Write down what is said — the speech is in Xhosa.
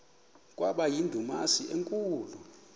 kwaba yindumasi enkulu